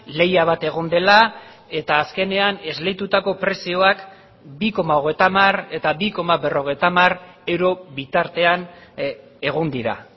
lehia bat egon dela eta azkenean esleitutako prezioak bi koma hogeita hamar eta bi koma berrogeita hamar euro bitartean egon dira